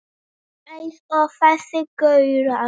Eins og þessir gaurar!